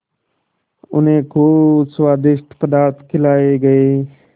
उन्हें खूब स्वादिष्ट पदार्थ खिलाये गये